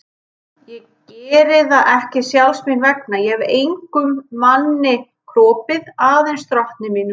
Ég geri það ekki sjálfs mín vegna, ég hef engum manni kropið, aðeins drottni mínum.